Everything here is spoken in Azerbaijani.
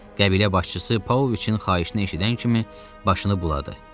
Qəbilə başçısı Pavloviçin xahişini eşidən kimi başını buladı.